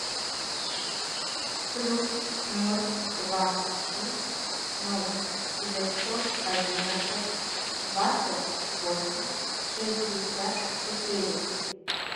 плюс ноль два шесть ноль девятьсот одинадцать двадцать восемь шестьдесят четыре